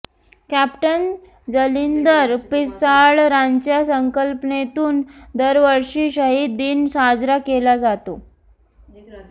captain Jalindar Pisal यांच्या संकल्पनेतून दरवर्षी शहीद दिन साजरा केला जातो